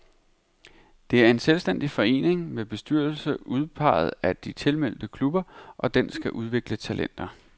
Det er en selvstændig forening, med bestyrelse udpeget af de tilmeldte klubber, og den skal udvikle talenter.